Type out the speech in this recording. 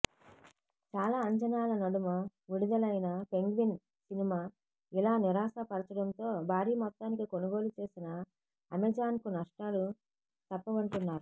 చాలా అంచనాల నడుమ విడుదలైన పెంగ్విన్ సినిమా ఇలా నిరాశపర్చడంతో భారీ మొత్తానికి కొనుగోలు చేసిన అమెజాన్కు నష్టాలు తప్పవంటున్నారు